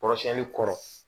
Kɔrɔsiyɛnni kɔrɔ